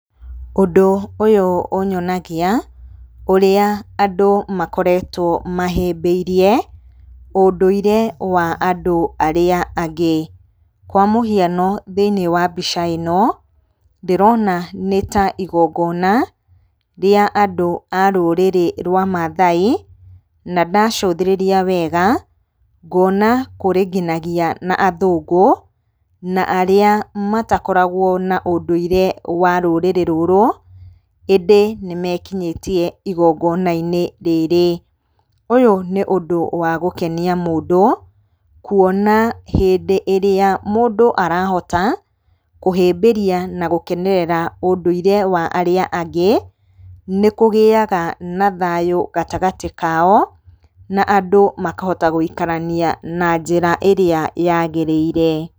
Ũndũ ũyũ ũnyonagia, ũrĩa andũ makoretwo mahĩmbĩirie ũndũire wa andũ arĩa angĩ. Kwa mũhiano thĩinĩ wa mbica ĩno, ndĩrona nĩta igongona, rwa andũ a rũrĩrĩ rwa Mathai, na ndacũthĩrĩria wega, ngona kũrĩ nginagia na athũngũ, na arĩa matakoragwo na ũndũire wa rũrĩrĩ rũrũ, ĩndĩ nĩ mekinyĩtie igongona-inĩ rĩrĩ. Ũyũ nĩ ũndũ wa gũkenia mũndũ, kuona hĩndĩ ĩrĩa mũndũ arahota kũhĩmbĩria, na gũkenerera ũndũire wa arĩa angĩ, nĩ kũgĩaga na thayũ gatagatĩ kao, na andũ makahota gwĩikarania na njĩra ĩrĩa yagĩrĩire.